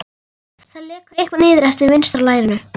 Það lekur eitthvað niður eftir vinstra lærinu.